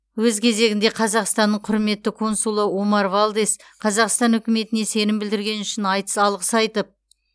өз кезегінде қазақстанның құрметті консулы омар валдес қазақстан үкіметіне сенім білдіргені үшін айтыс алғыс айтып